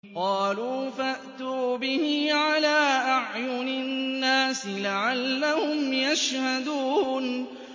قَالُوا فَأْتُوا بِهِ عَلَىٰ أَعْيُنِ النَّاسِ لَعَلَّهُمْ يَشْهَدُونَ